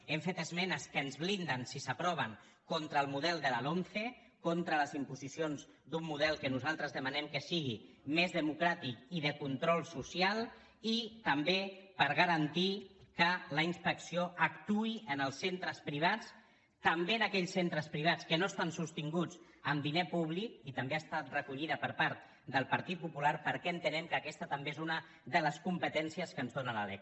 hem fet esmenes que ens blinden si s’aproven contra el model de la lomce contra les imposicions d’un model que nosaltres demanem que sigui més democràtic i de control social i també per garantir que la inspecció actuï en els centres privats també en aquells centres privats que no estan sostinguts amb diner públic i també ha estat recollida per part del partit popular perquè entenem que aquesta també és una de les competèn cies que ens dóna la lec